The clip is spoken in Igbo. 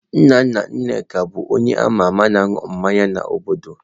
Nna nna Nneka bu onye ama ama na ịṅụ mmanya n'obodo.